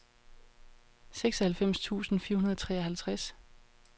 seksoghalvfems tusind fire hundrede og treoghalvtreds